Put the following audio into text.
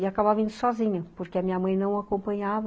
E acabava indo sozinho, porque a minha mãe não o acompanhava.